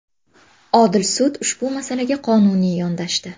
Odil sud ushbu masalaga qonuniy yondashdi.